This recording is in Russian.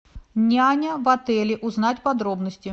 няня в отеле узнать подробности